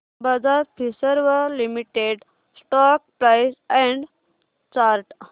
Bajaj Finserv limited stock price and chart